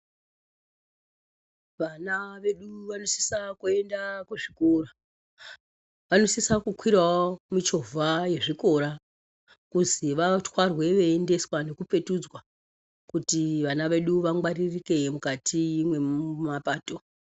Vana vedu vanosise kuenda kuzvikora. Vanosise kukwirawo michovha yezvikora kuzwi vatwarwe veiendeswa nekupetudzwa kuti vana vedu vangwaririke mukati mwemapato.